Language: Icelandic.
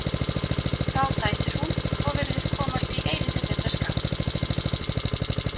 Þá dæsir hún og virðist komast í eilítið betra skap.